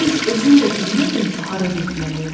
Heç özüm də bilmirdim ki, hara getməliyəm.